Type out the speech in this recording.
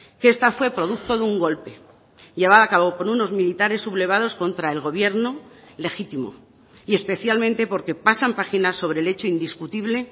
que esta fue producto de un golpe llevada a cabo por unos militares sublevados contra el gobierno legítimo y especialmente porque pasan página sobre el hecho indiscutible